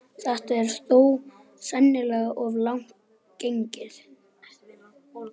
Þetta er þó sennilega of langt gengið.